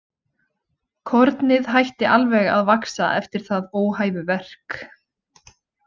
Kornið hætti alveg að vaxa eftir það óhæfuverk.